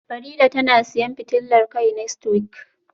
Farida tana siyan fitilar kai next week,?